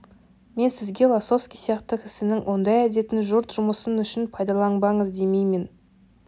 мен сізге лосовский сияқты кісінің ондай әдетін жұрт жұмысы үшін пайдаланбаңыз демеймін